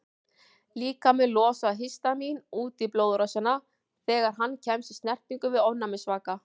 Líkaminn losar histamín út í blóðrásina þegar hann kemst í snertingu við ofnæmisvaka.